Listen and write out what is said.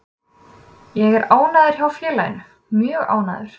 Ég er ánægður hjá félaginu, mjög ánægður.